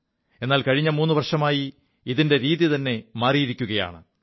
എാൽ കഴിഞ്ഞ മൂു വർഷമായി ഇതിന്റെ രീതിത െമാറിയിരിക്കയാണ്